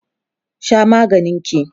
Sha maganin ki!